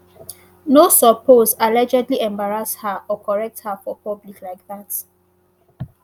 no suppose allegedly embarrass her or correct her for public like dat